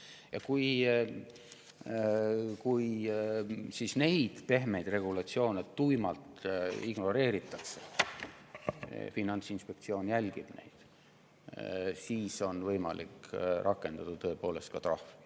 Ja kui neid pehmeid regulatsioone tuimalt ignoreeritakse – Finantsinspektsioon seda jälgib –, siis on tõepoolest võimalik rakendada ka trahvi.